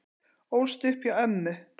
Ólst upp hjá ömmu